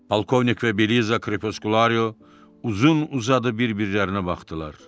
Polkovnik və Beliza Krepeskulayo uzun-uzadı bir-birlərinə baxdılar.